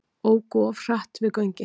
Óku of hratt við göngin